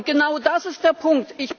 Und genau das ist der Punkt.